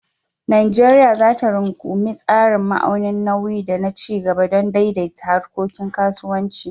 Najeriya za ta rungumi tsarin ma'aunin nauyi da na ci gaba don daidaita harkokin kasuwanci.